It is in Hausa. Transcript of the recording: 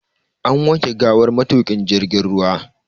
An wanke gawar matuƙin jirgin ruwa.